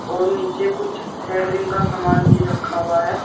और नीचे कुछ सेंटरिंग का सामान भी रखा हुआ है।